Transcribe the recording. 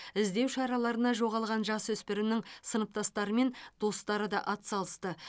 іздеу шараларына жоғалған жасөспірімнің сыныптастары мен достары да ат салысты